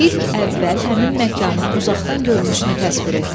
İlk əvvəl həmin məkanın uzaqdan görünüşünü təsvir et.